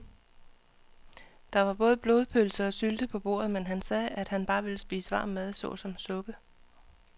Der var både blodpølse og sylte på bordet, men han sagde, at han bare ville spise varm mad såsom suppe.